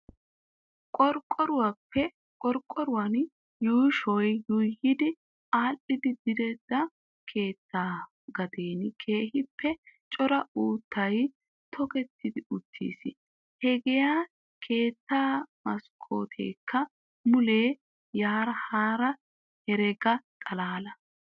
Qorqqoruwan yuushoy yuuyi aadhdhidi direttida keettaa gaden keehippe cora uuttay tokettidi uttiis. Hagaa keettaa maskkooteekka mulee yaara haara herega xalaala.